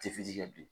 Tɛ fitiri kɛ bi